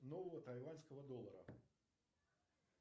нового тайваньского доллара